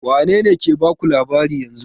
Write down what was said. Wane ne ke baku labarin yanzun?